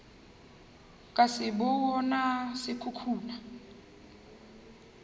ka se bona se khukhuna